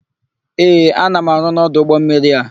Ee, ana m arụ n'ọdụ ụgbọmmiri a.